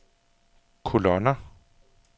kolonner